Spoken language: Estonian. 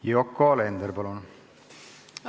Yoko Alender, palun!